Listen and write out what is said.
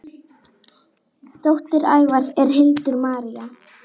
Dóttir Ævars er Hildur Marín.